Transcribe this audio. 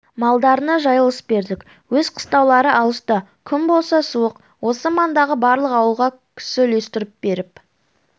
малдарына жайылыс бердік өз қыстаулары алыста күн болса суық осы маңдағы барлық ауылға кісі үлестіріп беріп